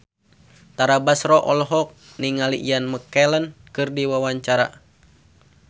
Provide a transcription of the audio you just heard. Tara Basro olohok ningali Ian McKellen keur diwawancara